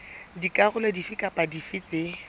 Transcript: dikarolo dife kapa dife tse